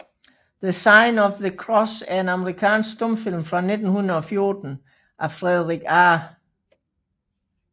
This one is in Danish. The Sign of the Cross er en amerikansk stumfilm fra 1914 af Frederick A